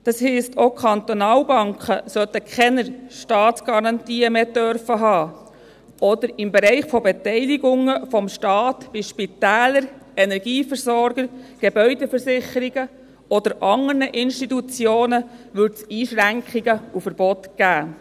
Das heisst, auch die Kantonalbanken sollen keine Staatsgarantien mehr haben dürfen, oder im Bereich der Beteiligungen des Staats an Spitälern, an Energieversorgern, Gebäudeversicherungen oder an anderen Institutionen gäbe es Einschränkungen und Verbote.